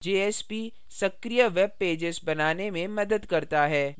jsp सक्रिय webpages बनाने में मदद करता है